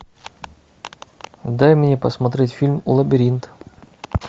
дай мне посмотреть фильм лабиринт